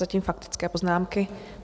Zatím faktické poznámky.